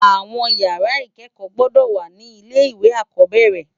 Awòn ìyàrá ikèékò gbòdò wá ni ilé iwé ákòbèrè